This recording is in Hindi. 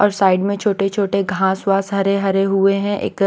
और साइड में छोटे-छोटे घास वास हरे-हरे हुए हैं एक--